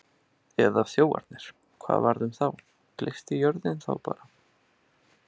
Eða þjófarnir, hvað varð um þá, gleypti jörðin þá bara?